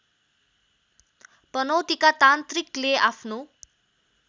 पनौतीका तान्त्रिकले आफ्नो